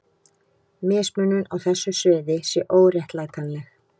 Mismunun á þessu sviði sé óréttlætanleg.